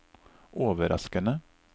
overraskende